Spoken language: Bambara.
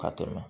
Ka tɛmɛ